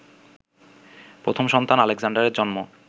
প্রথম সন্তান আলেক্সান্ডারের জন্ম